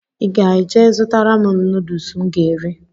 I ga-jee zụtara m nudus m ga eri?